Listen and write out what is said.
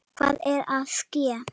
Hvað er að ske?